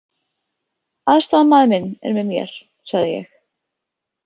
Aðstoðarmaður minn er með mér, sagði ég.